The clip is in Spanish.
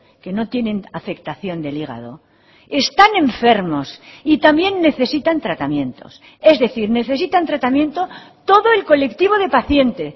que no tienen afectación del hígado están enfermos y también necesitan tratamientos es decir necesitan tratamiento todo el colectivo de paciente